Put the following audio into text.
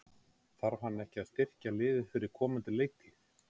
Þarf hann ekki að styrkja liðið fyrir komandi leiktíð?